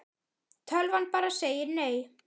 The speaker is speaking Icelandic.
Tölvan bara segir nei.